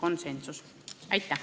Aitäh!